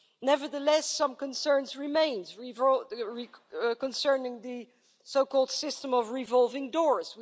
Nevertheless, some concerns remain concerning the so called system of revolving doors.